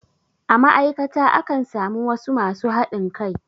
A ma'aikata akan samu wasu masu haɗin kai.